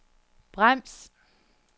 brems